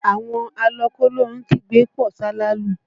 Àwọn alọ kólóhun kígbe pọ̀ salalu